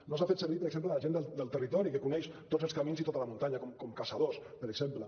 no s’ha fet servir per exemple la gent del territori que coneix tots els camins i tota la muntanya com caçadors per exemple